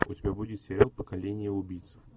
у тебя будет сериал поколение убийц